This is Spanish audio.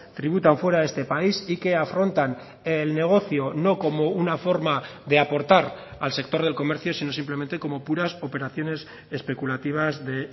tributan fuera de este país y que afrontan el negocio no como una forma de aportar al sector del comercio sino simplemente como puras operaciones especulativas de